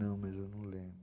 Não, mas eu não lembro.